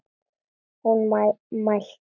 Hún mælti: